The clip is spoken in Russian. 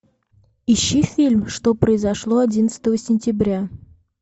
ищи фильм что произошло одиннадцатого сентября